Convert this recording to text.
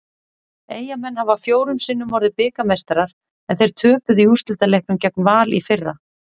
Eyjamenn hafa fjórum sinnum orðið bikarmeistarar en þeir töpuðu í úrslitaleiknum gegn Val í fyrra.